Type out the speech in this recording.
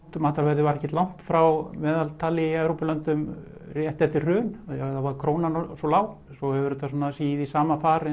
matarverðið var ekkert langt frá meðaltali í Evrópulöndum rétt eftir hrun þá var krónan svo lág en svo hefur þetta sígið í sama far